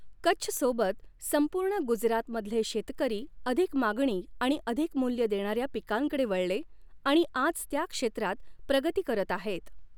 कच्छसोबत संपूर्ण गुजरातमधले शेतकरी अधिक मागणी आणि अधिक मूल्य देणाऱ्या पिकांकडे वळले आणि आज त्या क्षेत्रात प्रगती करत आहेत.